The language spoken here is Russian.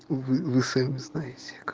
вы вы сами знаете к